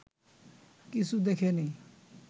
কিছু দেখে নি